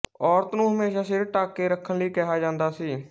ਔਰਤ ਨੂੰ ਹਮੇਸ਼ਾ ਸਿਰ ਢੱਕ ਕੇ ਰੱਖਣ ਲਈ ਕਿਹਾ ਜਾਂਦਾ ਸੀ